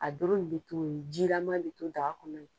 A doro in bɛ to yen jilaman bi to daka kɔnɔ